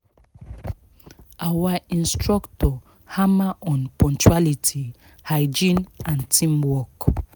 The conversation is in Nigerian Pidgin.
our instructor hammer on punctuality hygiene and teamwork